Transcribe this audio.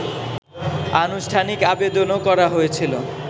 আনুষ্ঠানিক আবেদনও করা হয়েছিল